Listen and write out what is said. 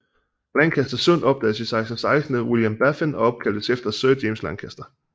Lancaster Sund opdagedes 1616 af William Baffin og opkaldtes efter Sir James Lancaster